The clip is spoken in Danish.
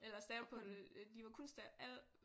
Eller stavet på det de var kun alle